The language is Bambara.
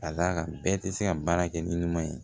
Ka d'a kan bɛɛ tɛ se ka baara kɛ ni ɲuman ye